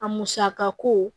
A musaka ko